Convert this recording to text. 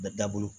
Bɛ da bolo